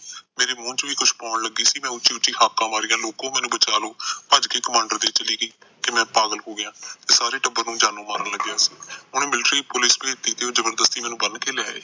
ਮੇਰੇ ਮੁੰਹ ਚ ਵੀ ਕੁਛ ਪਾਉਣ ਲੱਗੀ ਸੀ ਮੈ ਉਚੀ ਉਚੀ ਹਾਕਾ ਮਾਰੀਆਂ ਲੋਕੋਂ ਮੈਨੂੰ ਬਚਾ ਲੋ ਭੱਜ ਕੇ ਕਮਾਂਡਰ ਦੇ ਚਲੀ ਗਈ ਕਿ ਮੈ ਪਾਗਲ ਹੋ ਗਿਆ ਸਾਰੇ ਟੱਬਰ ਨੂੰ ਜਾਨੋ ਮਾਰਨ ਲੱਗਿਆ ਸੀ ਉਹਨੇ ਮਿਲਟਰੀ ਪੁਲਿਸ ਭੈਜਤੀ ਜਬਰਸਤੀ ਮੈਨੂੰ ਬੰਨ ਕੇ ਲੈ ਆਏ